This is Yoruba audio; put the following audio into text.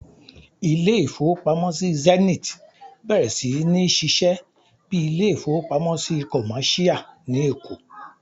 Ilé-ìfowópamọ́sí Zenith bẹ̀rẹ̀ sí ní ṣíṣe bíi ilé-ìfowópamọ́sí kọ̀máṣíyà ní Èkó